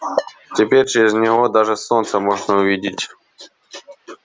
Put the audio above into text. теперь через него даже солнце можно увидеть